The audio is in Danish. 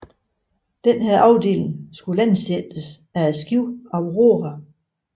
Denne afdeling skulle landsættes af skibet Aurora